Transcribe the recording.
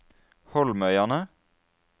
Holmøyane